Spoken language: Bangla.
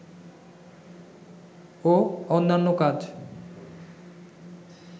ও অন্যান্য কাজ